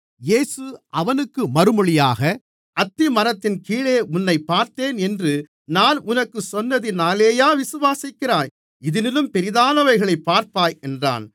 இயேசு அவனுக்கு மறுமொழியாக அத்திமரத்தின் கீழே உன்னைப் பார்த்தேன் என்று நான் உனக்குச் சொன்னதினாலேயா விசுவாசிக்கிறாய் இதிலும் பெரிதானவைகளைப் பார்ப்பாய் என்றார்